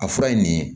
A fura ye nin ye